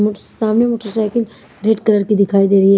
सामने motorcycle red colour की दिखाई दे रही है।